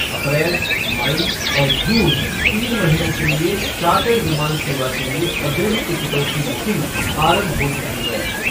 अप्रैल, मई और जून, तीन महीनों के लिए चार्टर्ड विमान सेवा के लिए अग्रिम टिकटों की बुकिंग आरंभ हो चुकी है।